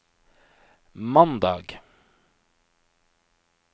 mandag